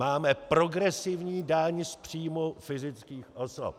Máme progresivní daň z příjmů fyzických osob.